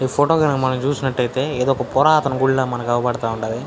ఈ ఫోటో గనక మనం చూసినట్టైతే ఇదొక పురాతన గుడి లాగా మనకి అవుపడతా ఉండాది.